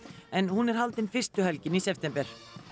en hún er haldin fyrstu helgina í september